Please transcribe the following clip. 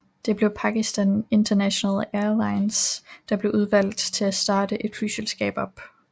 Det blev Pakistan International Airlines der blev udvalgt til at starte et flyselskab op